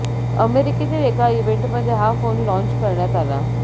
अमेरिकेतील एका इव्हेंटमध्ये हा फोन लाँच करण्यात आला